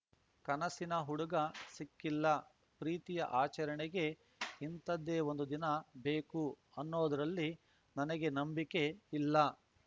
ಕನಸಿನ ಹುಡುಗ ಸಿಕ್ಕಿಲ್ಲ ಪ್ರೀತಿಯ ಆಚರಣೆಗೆ ಇಂಥದ್ದೇ ಒಂದು ದಿನ ಬೇಕು ಅನ್ನೋದರಲ್ಲಿ ನನಗೆ ನಂಬಿಕ್ಕೆ ಇಲ್ಲ